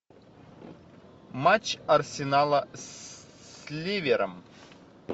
матч арсенала с ливером